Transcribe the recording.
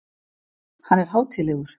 Hann er hátíðlegur.